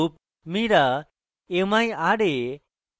mira